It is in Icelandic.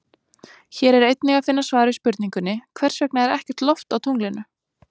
Hér er einnig að finna svar við spurningunni Hvers vegna er ekkert loft á tunglinu?